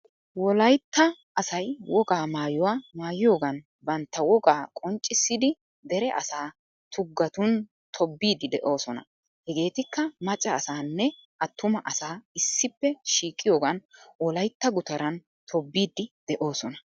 Wolaytta asay wogaa maayuwaa maayiyogan bantta woga qonccissidi dere asaa tugatun tobbidi de'osona. Hegeetikka macca asanne attuma asaa issipppe shiiqyiogan wolytta guttaran tobbidi deosona.